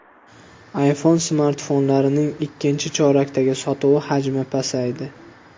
iPhone smartfonlarining ikkinchi chorakdagi sotuvi hajmi pasaydi.